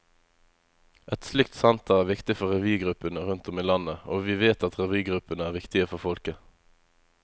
Et slikt senter er viktig for revygruppene rundt om i landet, og vi vet at revygruppene er viktige for folket.